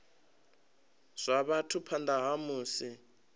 zwa vhathu phanḓa ha musi